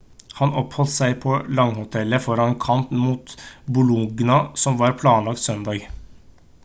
han oppholdt seg på laghotellet foran en kamp mot bologna som var planlagt søndag